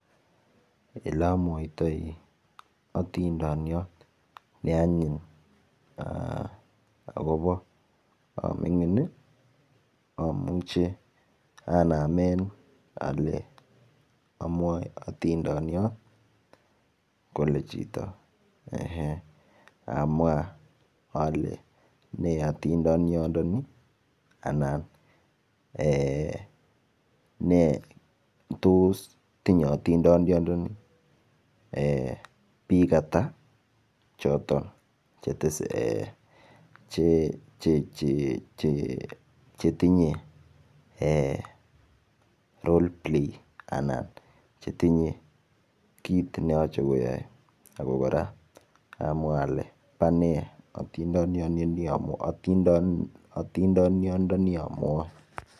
Ele amuoitoi atindoniot neanyiny akopo amining amuche anamen ale amuoe atindoniot kole chito ehe amwa ale nee atindoninioni anan ne tos tinyei atindiondoni biik ata choton chetesetai chetinyei role play ana chetinyei kiit neyoche kiyoe ako kora amwa ale pone atindiononi amuoe